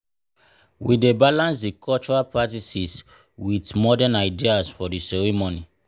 we dey balance di cultural practices with modern ideas for di ceremony.